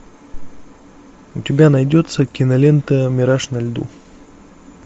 у тебя найдется кинолента мираж на льду